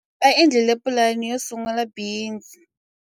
Va endlile pulani yo sungula bindzu.